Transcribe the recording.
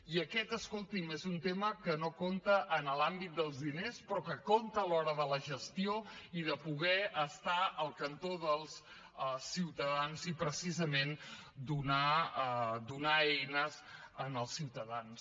i aquest escolti’m és un tema que no compta en l’àmbit dels diners però que compta a l’hora de la gestió i de poder estar al cantó dels ciutadans i precisament donar eines als ciutadans